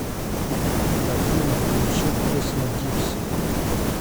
афина включи песня гипси